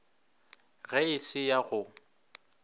ge e se ya go